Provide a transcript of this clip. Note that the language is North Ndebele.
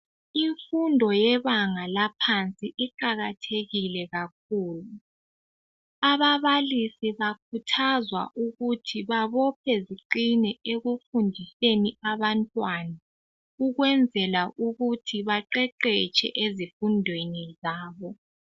Imfundo yebanga laphansi iqakathekile kakhulu. Ababalisi bakhuthazwa ukuthi babophe ziqine ekufundiseni abantwana ukwenzela ukuthi baqeqetshe ezifundweni zabo.